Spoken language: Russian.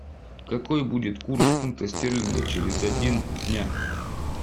какой будет курс фунта стерлинга через один дня